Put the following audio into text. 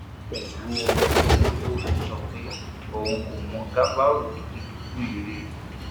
pẹlú omi lójú ló fi ń sọ pé òun kò mọ gàfárú tó ti dòkú yìí rí